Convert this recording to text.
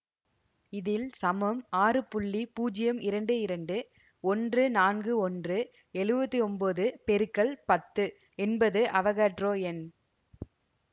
இதில் சமம் ஆறு புள்ளி பூஜ்யம் இரண்டு இரண்டு ஒன்று நான்கு ஒன்று எழுவத்தி ஒன்போது பெருக்கல் பத்து என்பது அவோகாடரோ எண்